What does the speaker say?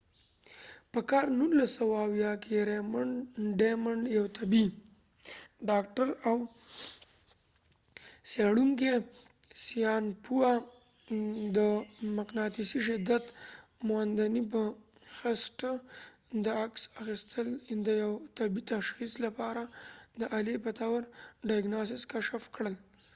په کال 1970 کې ریمنډ ډماډین raymond damadian یو طبی ډاکټر او څیړونکې ساینسپوه د مقناطیسی شدت موندنی په بنسټ د عکس اخستل د یو طبی تشخیص diagnosis لپاره د الی په طور کشف کړ